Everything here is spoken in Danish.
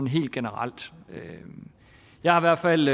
helt generelt jeg har i hvert fald